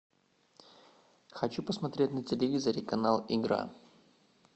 хочу посмотреть на телевизоре канал игра